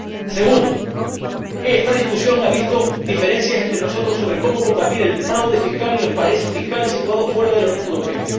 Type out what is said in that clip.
En segundo lugar, esta discusión ha visto diferencias entre nosotros sobre cómo combatir el fraude fiscal y los paraísos fiscales situados fuera de la Unión Europea.